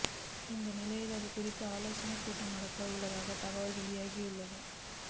இந்நிலையில் இது குறித்து ஆலோசனை கூட்டம் நடக்க உள்ளதாகவும் தகவல் வெளியாகியுள்ளது